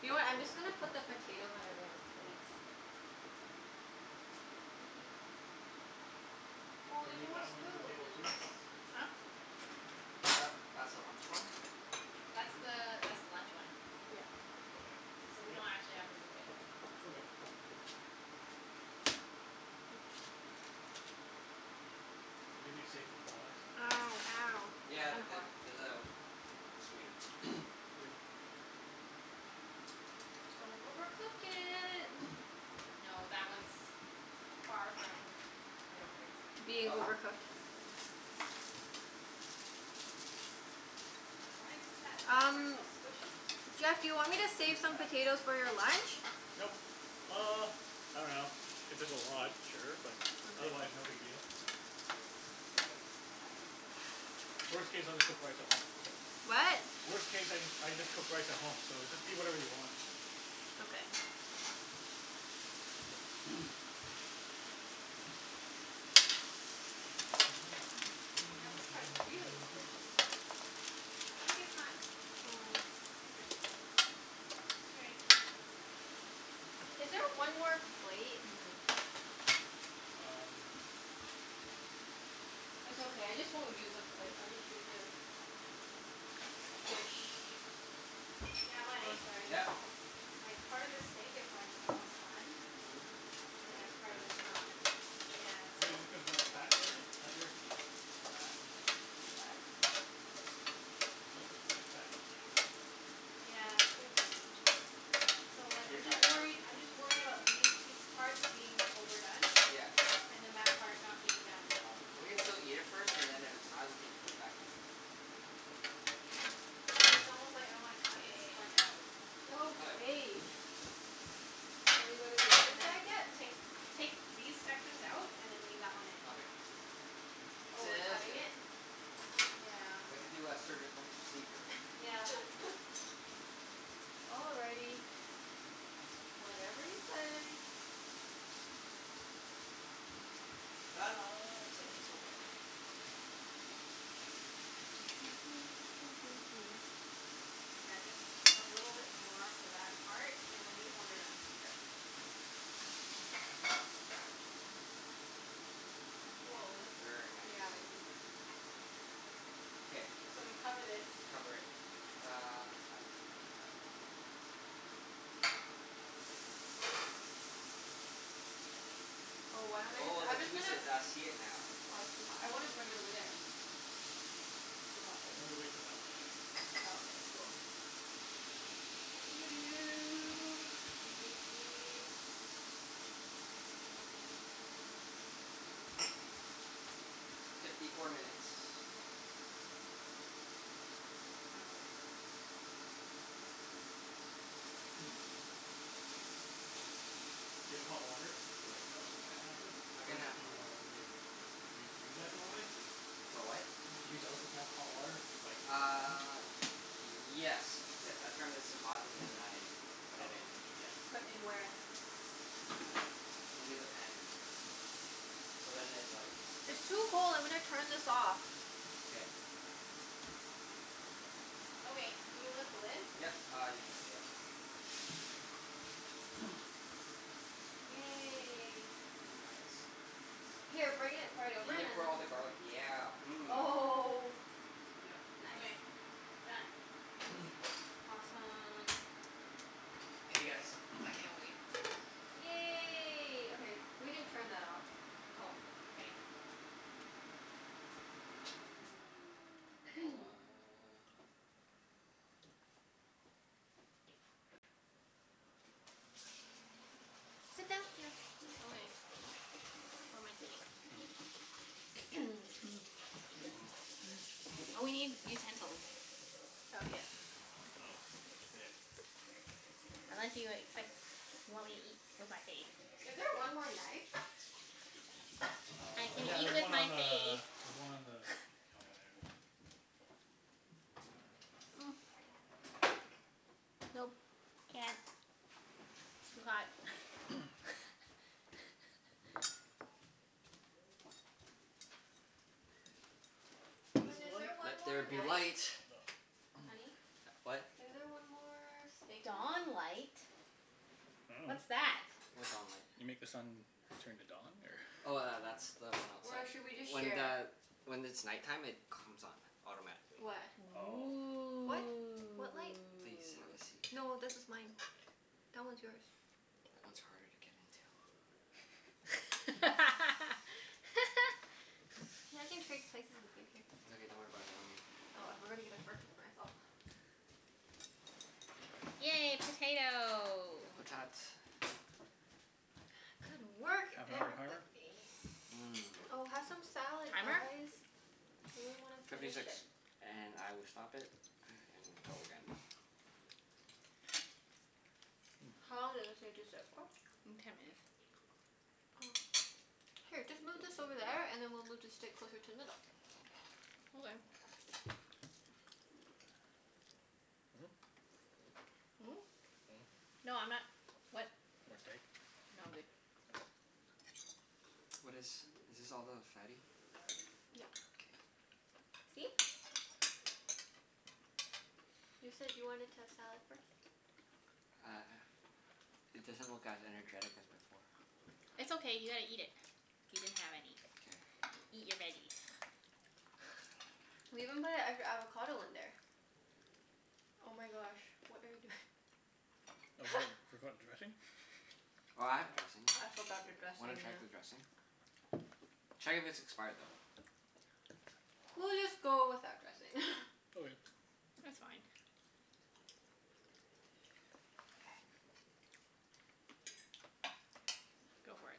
You know what? I'm just gonna put the potatoes on everyone's plates. Excuse me. Oh, Should there's we no move more that one to the table too, spoons. or no? Huh? Tha- that's the Y- lunch one. That's Sure. the that's the lunch one. Yeah. Okay, so we So we leave it? don't actually have to move it. Okay. Is it gonna be safe from flies? Ow, ow. It's Yeah, kinda th- hot. there's a screen. Good. Don't overcook it. No, that one's far from, I don't think so. Being Ah, overcooked? just a minute. Why is this at, that part's Um, so squishy? Jeff, do you want me to a save some fat. potatoes for your lunch? Nope. K. Uh, I dunno. If there's a lot, sure, but otherwise Okay. no big deal. Just flip it now. Yeah. Worst case, I'll just cook rice at home, so What? Worst case I just I just cook Nice. rice at home, so just eat whatever you want. Okay. Yeah, this part's really squishy. Oh, I guess not Oh. Interesting. Is there one more plate? Hmm. Um It's okay. I just won't use a plate. I'll just use this. Dish. Yeah, Oh, Mike? sorry. Yeah. Like, part of this steak is like, almost done. Mhm, And but then part then of it's it's not. squishy. Yeah, so But is it cuz that's fat area? That area could be fat. Is it fat? I think this could be a fatty piece. Yeah, it could be. So like Should we I'm just try some? worried, I'm just worried about these pie- parts being overdone. Yeah. And then that part not being done. Ah. We can still eat it first, and then if it's not we can just put it back in. Mm, it's it's almost like I wanna cut this K. part out. We could. Okay. Shall we go to the other And then side yet? take take these sections out and then leave that one in. Okay. Oh, we're Sounds cutting good. it? Yeah. We have to do a surgical procedure. Yep. All righty. Whatever you say. It's o- it's okay. Yeah, just a little bit more for that part and then these ones are done. Mkay. Woah, that's, Very nice. yeah, I thi- K. So we cover this. Cover it. Uh, I got it here. Oh, why don't I just, Oh, the I'm just gonna juices. I see it now. Oh, it's too hot. I wanna bring it over there. Mhm. Too hot, though. I'm gonna wait for that one, I think. Oh, okay. Cool. Let me see. Fifty four minutes. No worries. Do you have hot water to like, douse the pan after? I Or can y- have do hot you water. normally Do you do that normally? For what? Do you douse the pan with hot water like Uh, yes. Yes. I turn this to hot and then I put Oh. it in. Yeah. Put in where? Into the pan. Into the pan. So then it like It's too cold. I'm gonna turn this off. K. Okay, can you lift the lid? Yep. Uh, you can, yep. Yay. Nice. Here, bring it right over We and can then put all the garlic, yeah. Mmm. Oh Yep. Nice. Okay. Done. K. Awesome. Okay guys, I can't wait. Yay. Okay. We can turn that off. Oh, okay. So uh Sit down, yeah. Oh eh. Where am I sitting? Mm. Mm. Mm. Mm. Oh, Mm. we need utensils. Oh, yeah. Oh, yes. Unless you expect, you want me to eat with my face. Is there one more knife? I Uh, can yeah, eat there's with one my on face. the, there's one on the counter there. Nope. Can't. Too hot. Is this Hun, is there one Let more there be light. knife? Oh. Honey? What? Is there one more steak Dawn knife? light. I dunno. What's that? What dawn light? You make the sun turn to dawn, or Oh tha- that's the one Or outside. should we just When share? the, when it's night time, it comes on. Automatically. What? Oh. What? What light? Please, have a Ooh. seat. No, this is mine. That one's yours. That one's harder to get into. Hey, I can trade places with you. Here. It's okay. Don't worry about it. I'm here. Oh, I forgot to get a fork for myself. Yay, potato. Potat. Good work, Half an hour everybo- timer? ee. Oh, Mmm. have some salad Timer? guys. We really wanna Fifty finish six. it. And I will stop it and go again. How long did this need to sit for? Mm, ten minutes. Oh. Here, just move this over there, and then we'll move the steak closer to the middle. Okay. Hmm? Mm? Hmm. No, I'm not, what? More steak? No, I'm good. Oh. What is, is this all the fatty? Yep. K. See? You said you wanted to have salad first. Uh, it doesn't look as energetic as before. It's okay, you gotta eat it. You didn't have any. K. Eat your veggies. We even put an extra avocado in there. Oh my gosh, what are you doing? forgot dressing? Oh, I have dressing. I forgot the W- wanna dressing, check the yeah. dressing? Check if it's expired though. We'll just go without dressing. Okay. It's fine. Go for it.